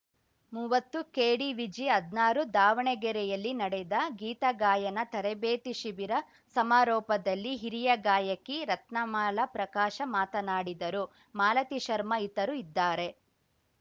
ಮೂವತ್ತುಕೆಡಿವಿಜಿಹದ್ನಾರು ದಾವಣಗೆರೆಯಲ್ಲಿ ನಡೆದ ಗೀತ ಗಾಯನ ತರಬೇತಿ ಶಿಬಿರ ಸಮಾರೋಪದಲ್ಲಿ ಹಿರಿಯ ಗಾಯಕಿ ರತ್ನಮಾಲ ಪ್ರಕಾಶ ಮಾತನಾಡಿದರು ಮಾಲತಿ ಶರ್ಮಾ ಇತರು ಇದ್ದಾರೆ